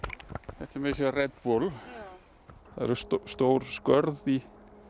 þetta er Red bull það eru stór skörð í